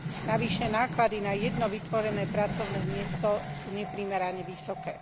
Navyše náklady na jedno vytvorené pracovné miesto sú neprimerane vysoké.